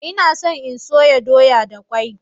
Ina so in soya doya da kwai.